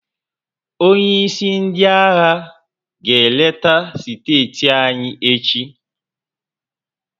Onye isi ndị agha ga-eleta steeti anyị echi.